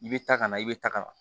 I bɛ ta ka na i bɛ tagama